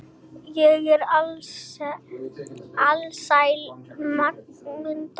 Ég er alsæl, sagði Munda.